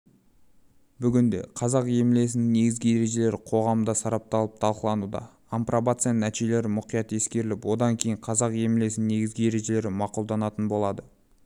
бүгінде қазақ емлесінің негізгі ережелері қоғамда сарапталып талқылануда апробацияның нәтижелері мұқият ескеріліп одан кейін қазақ емлесінің негізгі ережелері мақұлданатын болады